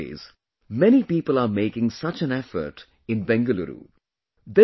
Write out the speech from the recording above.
Nowadays, many people are making such an effort in Bengaluru